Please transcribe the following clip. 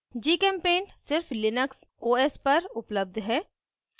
gchempaint सिर्फ Linux os पर उपलब्ध है